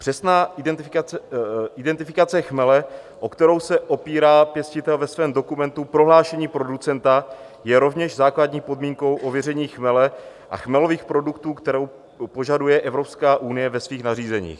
Přesná identifikace chmele, o kterou se opírá pěstitel ve svém dokumentu Prohlášení producenta, je rovněž základní podmínkou ověření chmele a chmelových produktů, kterou požaduje Evropská unie ve svých nařízeních.